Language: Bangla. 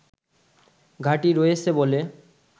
ঘাঁটি রয়েছে বলে